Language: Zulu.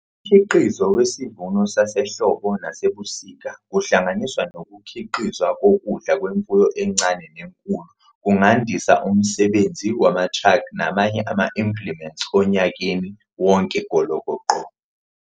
Umkhiqizo wesivuno sasehlobo nesasebusika kuhlanganiswa nokukhiqizwa kokudla kwemfuyo encane nenkulu kungandisa umsebenzi wamatraki namanye ama-implements onyakeni wonke golokoqo.